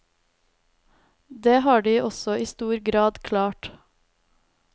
Det har de også i stor grad klart.